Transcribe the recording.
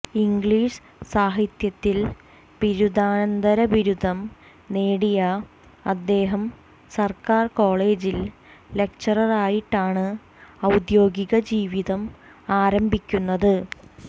English സാഹിത്യത്തിൽ ബിരുദാനന്തരബിരുദം നേടിയ അദ്ദേഹം സർക്കാർ കോളേജിൽ ലക്ചററായിട്ടാണ് ഔദ്യോഗിക ജീവിതം ആരംഭിക്കുന്നത്